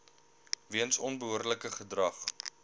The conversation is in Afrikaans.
weens onbehoorlike gedrag